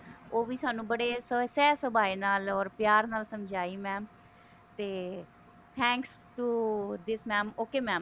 ਉਹ ਸਾਨੂੰ ਬੜੇ ਸਹਿਜ ਸੁਭਾ ਨਾਲ or ਪਿਆਰ ਨਾਲ ਸਮਝਾਈ ਤੇ thanks to this mam okay mam